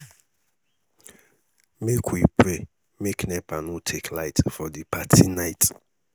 make we pray make nepa no take light for di party night